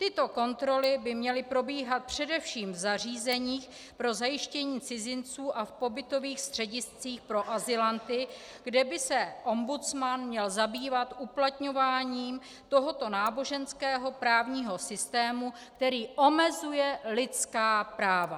Tyto kontroly by měly probíhat především v zařízeních pro zajištění cizinců a v pobytových střediscích pro azylanty, kde by se ombudsman měl zabývat uplatňováním tohoto náboženského právního systému, který omezuje lidská práva.